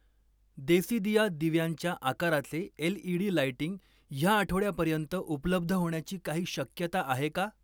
देसीदिया दिव्यांच्या आकाराचे LED. Lighting ह्या आठवड्यापर्यंत उपलब्ध होण्याची काही शक्यता आहे का?